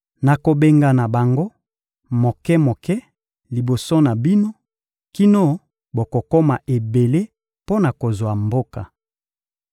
Nakobengana bango moke-moke liboso na bino kino bokokoma ebele mpo na kozwa mboka.